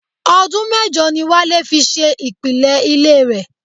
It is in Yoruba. Ọdún mẹ́jọ ni Wálé fi ṣe ìpìlẹ̀ ilé rẹ̀.